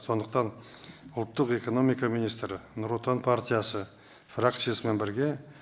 сондықтан ұлттық экономика министрі нұр отан партиясы фракциясымен бірге